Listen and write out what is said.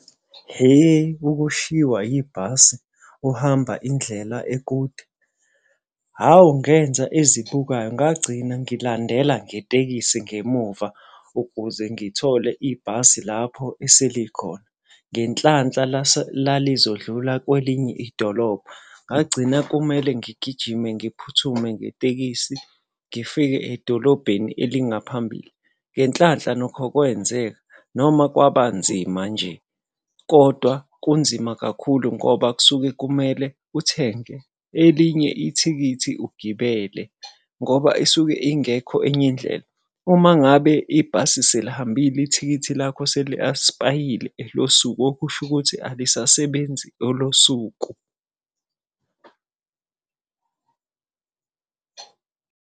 Ihe, ukushiwa ibhasi uhamba indlela ekude. Hawu ngenza ezibukwayo, ngagcina ngilandela ngetekisi ngemuva ukuze ngithole ibhasi lapho eselikhona. Ngenhlanhla lalizodlula kwelinye idolobha. Ngagcina kumele ngigijime ngiphuthume ngetekisi, ngifike edolobheni elingaphambili. Ngenhlanhla nokho kwenzeka, noma kwaba nzima nje. Kodwa kunzima kakhulu ngoba kusuke kumele uthenge elinye ithikithi ugibele ngoba isuke ingekho enye indlela. Uma ngabe ibhasi selihambile ithikithi lakho seli-expire-ile elosuku okusho ukuthi alisasebenzi olosuku.